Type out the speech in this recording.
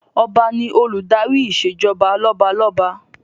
Ọba ni Olùdarí ìṣèjọba lọ́balọ́ba